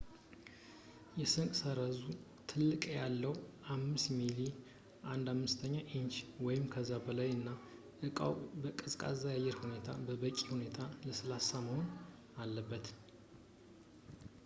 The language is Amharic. የስንጥቅ ሰረዙ ጥልቀት ያለው ፣ 5 ሚሜ 1/5 ኢንች ወይም ከዚያ በላይ ፣ እና እቃው በቀዝቃዛ አየር ውስጥ በበቂ ሁኔታ ለስላሳ መሆን አለበት